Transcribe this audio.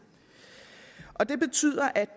det betyder at